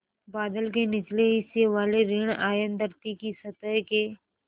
बादल के निचले हिस्से वाले ॠण आयन धरती की सतह के